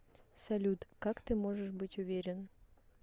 салют как ты можешь быть уверен